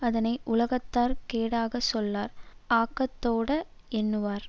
அதனை உலகத்தார் கேடாகச் சொல்லார் ஆக்கத்தோடே யெண்ணுவார்